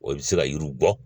O bɛ se ka yiriw bɔ